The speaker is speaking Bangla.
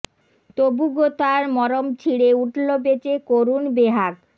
তবু গো তার মরম ছিঁড়ে উঠল বেজে করুণ বেহাগ